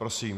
Prosím.